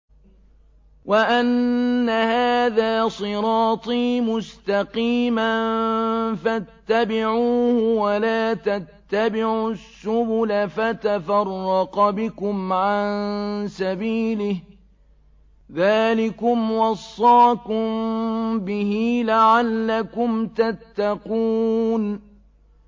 وَأَنَّ هَٰذَا صِرَاطِي مُسْتَقِيمًا فَاتَّبِعُوهُ ۖ وَلَا تَتَّبِعُوا السُّبُلَ فَتَفَرَّقَ بِكُمْ عَن سَبِيلِهِ ۚ ذَٰلِكُمْ وَصَّاكُم بِهِ لَعَلَّكُمْ تَتَّقُونَ